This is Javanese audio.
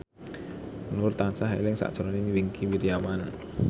Nur tansah eling sakjroning Wingky Wiryawan